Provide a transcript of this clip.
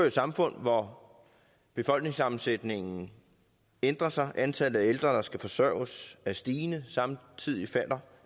et samfund hvor befolkningssammensætningen ændrer sig antallet af ældre der skal forsørges er stigende og samtidig falder